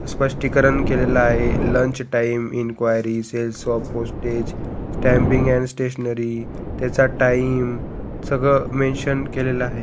स्पस्टिकरण केलेल आहे lunch time enquiry sales of postage stamping and stationery त्याचा टाइम सगळं मेंशन केलेल आहे.